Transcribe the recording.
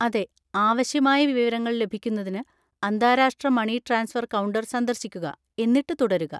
അതെ, ആവശ്യമായ വിവരങ്ങൾ ലഭിക്കുന്നതിന് അന്താരാഷ്ട്ര മണി ട്രാൻസ്ഫർ കൗണ്ടർ സന്ദർശിക്കുക, എന്നിട്ട് തുടരുക.